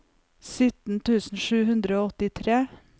syttien tusen sju hundre og åttitre